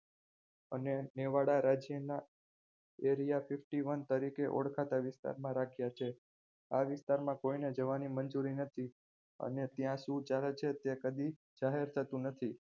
અને મેવાડા રાજ્યના area fifty one તરીકે ઓળખાતા વિસ્તારમાં રાખ્યા છે આ વિસ્તારમાં કોઈને જવાની મંજૂરી નથી અને ત્યાં શું ચાલે છે તે કદી જાહેર થતું નથી